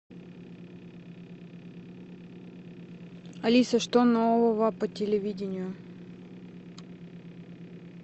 алиса что нового по телевидению